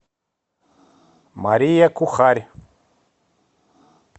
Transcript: мария кухарь